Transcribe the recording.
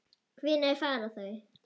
Hvenær fara þau?